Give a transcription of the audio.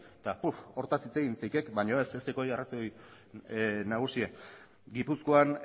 eta uf hortaz hitz egin neike baino ez ez duk hori arrazoi nagusiena gipuzkoan